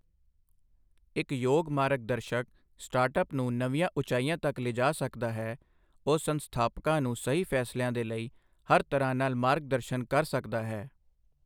ਇੱਕ ਯੋਗ ਮਾਰਗ ਦਰਸ਼ਕ ਸਟਾਰਟਅੱਪ ਨੂੰ ਨਵੀਆਂ ਉਚਾਈਆਂ ਤੱਕ ਲਿਜਾ ਸਕਦਾ ਹੈ, ਉਹ ਸੰਸਥਾਪਕਾਂ ਨੂੰ ਸਹੀ ਫ਼ੈਸਲਿਆਂ ਦੇ ਲਈ ਹਰ ਤਰ੍ਹਾਂ ਨਾਲ ਮਾਰਗ ਦਰਸ਼ਨ ਕਰ ਸਕਦਾ ਹੈ।